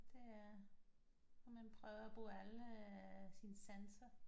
Det er og man prøver at bruge alle sine sanser